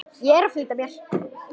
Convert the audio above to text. Ég er að flýta mér!